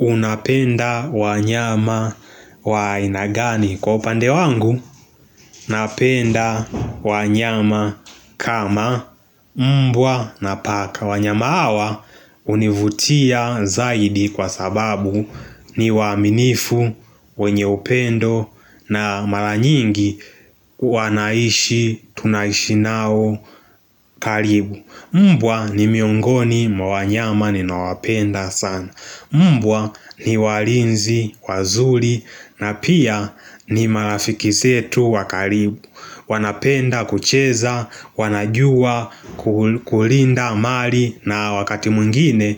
Unapenda wanyama wa aina gani. Kwa upande wangu, napenda wanyama kama mmbwa na paka. Wanyama hawa hunivutia zaidi kwa sababu ni waaminifu, wenye upendo na mara nyingi wanaishi, tunaishi nao karibu. Mmbwa ni miongoni mwa wanyama ninawapenda sana Mbwa ni walinzi, wazuri na pia ni marafiki setu wa karibu wanapenda kucheza, wanajua kulinda amali na wakati mwingine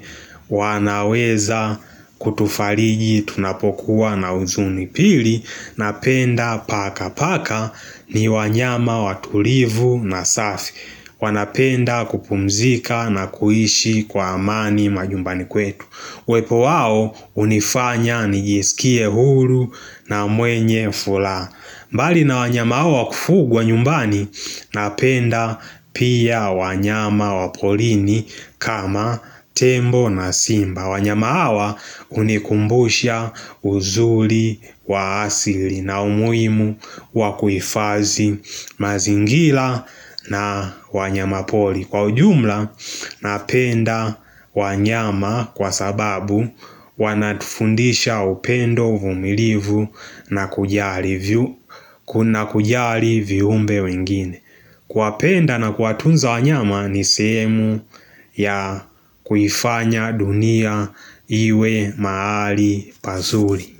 wanaweza kutufariji tunapokuwa na uzuni pili Napenda paka paka ni wanyama watulivu na safi wanapenda kupumzika na kuishi kwa amani majumbani kwetu uwepo wao hunifanya nijisikie huru na mwenye furaha mbali na wanyama hao wa kufugwa nyumbani Napenda pia wanyama wa porini kama tembo na simba wanyama wa hunikumbusha uzuri wa asili na umuhimu wa kuhifazi mazingira na wanyama poli Kwa ujumla napenda wanyama kwa sababu Wanatufundisha upendo uvumilivu na kujali viumbe wengine Kuwapenda na kuwatunza wanyama ni sehemu ya kuifanya dunia iwe mahali pazuri.